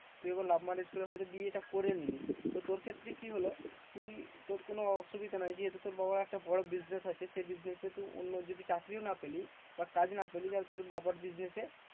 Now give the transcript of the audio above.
তুই এবার love marriage করে হয়তো বিয়েটা করে নিলি, তো তোর ক্ষেত্রে কি হলো? তুই তোর কোনো অসুবিধে নাই যেহেতু তোর বাবার একটা বড় business আছে। সে business এ তুই অন্য যদি চাকরিও না পেলি বা কাজ না পেলি, যাতে তোর বাবার business এ